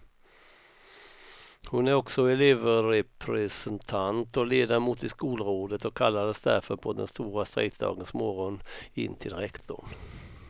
Hon är också elevrepresentant och ledamot i skolrådet och kallades därför på den stora strejkdagens morgon in till rektorn.